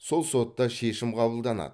сол сотта шешім қабылданады